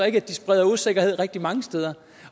at de så spreder usikkerhed rigtig mange steder